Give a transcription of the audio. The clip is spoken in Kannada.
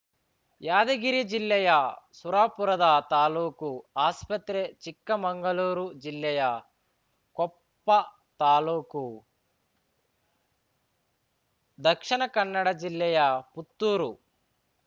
ಯಾದಗಿರಿ ಜಿಲ್ಲೆಯ ಸುರಪುರದ ತಾಲೂಕು ಆಸ್ಪತ್ರೆ ಚಿಕ್ಕಮಂಗಳೂರು ಜಿಲ್ಲೆಯ ಕೊಪ್ಪ ತಾಲೂಕು ದಕ್ಷಿಣ ಕನ್ನಡ ಜಿಲ್ಲೆಯ ಪುತ್ತೂರು